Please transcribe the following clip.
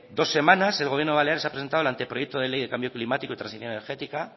dos semanas el gobierno balear ha presentado el ante proyecto de ley del cambio climático y transición energética